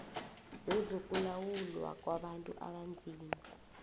wezokulawulwa kwabantu abanzima